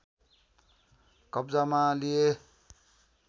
कब्जामा लिए